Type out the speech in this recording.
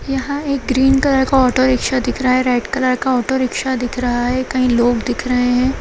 यहां एक green colour का ऑटो-रिक्शा दिख रहा है रेड कलर का ऑटो-रिक्शा दिख रहा है कही लोग दिख रहे हैं।